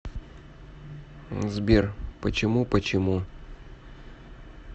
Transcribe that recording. сбер почему почему